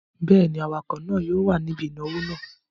Bẹ́ẹ̀ ni, awakọ̀ náà yóò wà níbí ìnáwó náà.